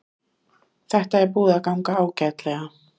Þetta er búið að ganga ágætlega